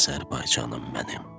Azərbaycanım mənim.